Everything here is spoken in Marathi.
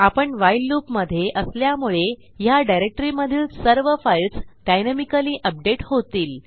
आपणwhile लूप मधे असल्यामुळे ह्या डिरेक्टरीमधील सर्व फाईल्स डायनॅमिकली अपडेट होतील